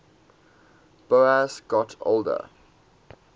boas got older